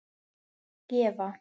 að gefa